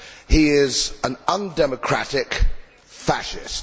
He is an undemocratic fascist.